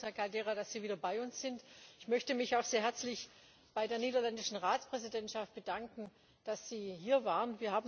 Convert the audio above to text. Wir freuen uns, Herr Caldeira, dass Sie wieder bei uns sind. Ich möchte mich auch sehr herzlich bei der niederländischen Ratspräsidentschaft bedanken, dass Sie hier waren.